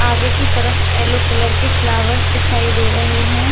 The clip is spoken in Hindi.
आगे की तरफ येल्लो कलर के फ्लावर्स दिखाई दे रहे है।